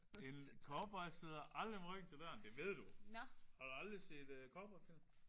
En cowboy sidder aldrig med ryggen til døren. Det ved du! Har du aldrig set cowboyfilm?